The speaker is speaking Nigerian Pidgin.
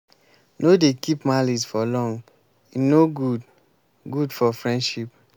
no dey keep malice for long o e no good good for friendship.